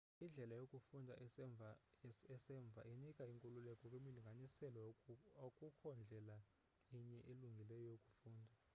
indlela yokufunda esemva inika inkululeko kwimilinganiselo akukho ndlela inye ilungileyo yokufunda